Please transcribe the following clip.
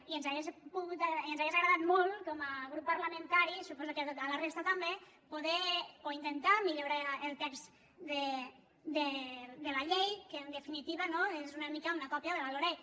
i ens hauria agradat molt com a grup parlamentari suposo que a la resta també poder o intentar millo·rar el text de la llei que en definitiva no és una mica una còpia de la loreg